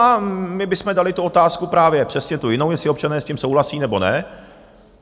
A my bychom dali tu otázku, právě přesně tu jinou, jestli občané s tím souhlasí, nebo ne.